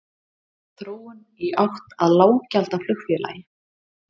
Þróun í átt að lággjaldaflugfélagi?